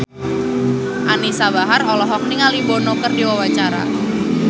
Anisa Bahar olohok ningali Bono keur diwawancara